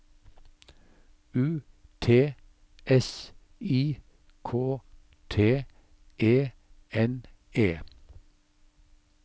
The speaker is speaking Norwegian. U T S I K T E N E